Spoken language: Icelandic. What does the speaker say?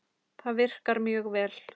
Það virkar mjög vel.